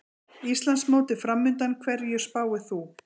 Íslandsmótið framundan, hverju spáir þú?